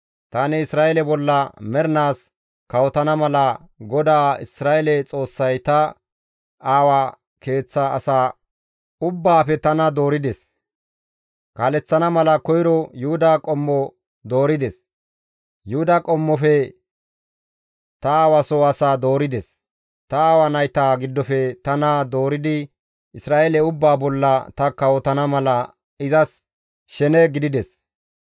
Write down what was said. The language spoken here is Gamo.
Tani Isra7eele bolla mernaas kawotana mala GODAA Isra7eele Xoossay ta aawaa keeththa asaa ubbaafe tana doorides; Kaaleththana mala koyro Yuhuda qommo doorides; Yuhuda qommofe ta aawa soo asaa doorides; ta aawa nayta giddofe tana dooridi Isra7eele ubbaa bolla ta kawotana mala izas shene gidides.